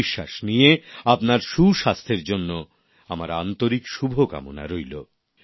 এই বিশ্বাস নিয়ে আপনার সুস্বাস্থ্যের জন্য আমার আন্তরিক শুভকামনা রইল